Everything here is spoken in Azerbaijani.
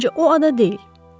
Məncə o ada deyil.